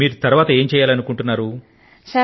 మీరు ముందు ముందు ఏం చేయాలనుకుంటున్నారు